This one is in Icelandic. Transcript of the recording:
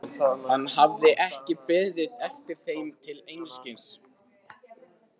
Hann hafði ekki beðið eftir þeim til einskis.